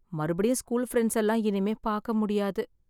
மறுபடியும் school friends எல்லாம் இனிமே பார்க்க முடியாது.